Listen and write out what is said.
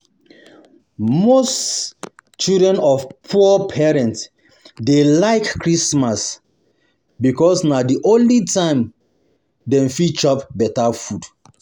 Most children of poor parents dey like Christmas because na the only time dem fit chop better food.